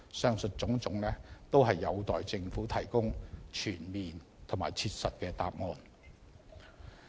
上述種種，均有待政府提供全面和切實的答案。